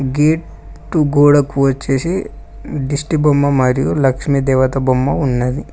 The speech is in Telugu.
గే ట్టు గోడకు వచ్చేసి దిష్టిబొమ్మ మరియు లక్ష్మీ దేవత బొమ్మ ఉన్నది.